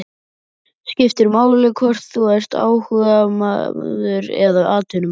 Skiptir máli hvort þú ert áhugamaður eða atvinnumaður?